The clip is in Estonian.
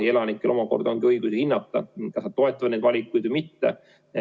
Ja elanikel peab omakorda olema õigus hinnata, kas toetada neid valikuid või mitte.